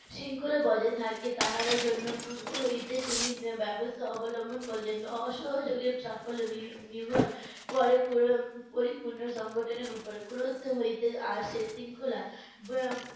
শৃঙ্খলা বজায় থাকে তাহার জন্য পুর্ব হইতে তিনি ব্যবস্থা অবলম্বন করলেন। অসহযোগের সাফল্য নির~ নির্ভর করে প~ পরিপূর্ণ সংগঠনের উপর ক্রোধ হইতে আসে শৃঙ্খলা।